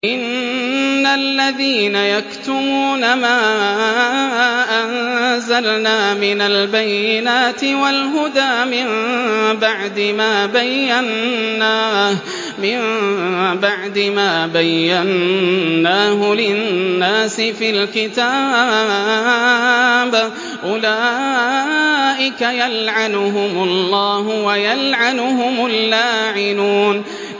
إِنَّ الَّذِينَ يَكْتُمُونَ مَا أَنزَلْنَا مِنَ الْبَيِّنَاتِ وَالْهُدَىٰ مِن بَعْدِ مَا بَيَّنَّاهُ لِلنَّاسِ فِي الْكِتَابِ ۙ أُولَٰئِكَ يَلْعَنُهُمُ اللَّهُ وَيَلْعَنُهُمُ اللَّاعِنُونَ